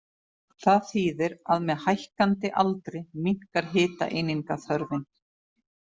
Það þýðir að með hækkandi aldri minnkar hitaeiningaþörfin.